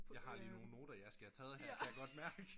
Jeg har lige nogen noter jeg skal have taget her kan jeg godt mærke